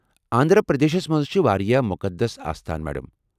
آنٛدھرا پردیشس منٛز چھ وارِیاہ مقدس استان، میڈم۔